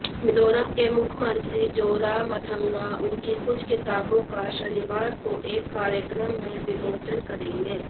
मिजोरम के मुख्यमंत्री जोरामथंगा उनकी कुछ किताबों का शनिवार को एक कार्यक्रम में विमोचन करेंगे